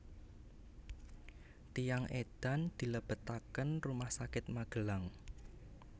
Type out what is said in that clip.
Tiyang edan dilebetaken rumah sakit Magelang